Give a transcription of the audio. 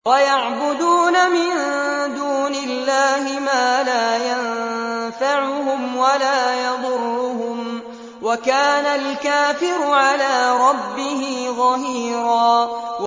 وَيَعْبُدُونَ مِن دُونِ اللَّهِ مَا لَا يَنفَعُهُمْ وَلَا يَضُرُّهُمْ ۗ وَكَانَ الْكَافِرُ عَلَىٰ رَبِّهِ ظَهِيرًا